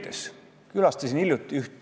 Ja see on ebaõiglane ka näiteks aknaaluste suhtes.